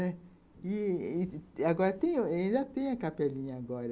E... agora tem, ainda tem a capelinha agora.